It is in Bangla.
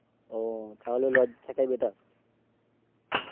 তাহলে লজে থাকাই Better